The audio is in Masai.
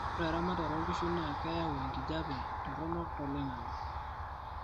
oe eramatare oonkishu naa keyau enkijape toronok tloingangi